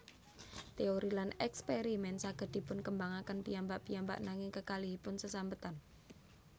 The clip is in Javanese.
Téori lan èkspèrimèn saged dipunkembangaken piyambak piyambak nanging kekalihipun sesambetan